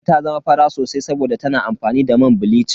Kande ta zama fara sosai saboda tana amfani da man bilicin.